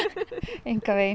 engan veginn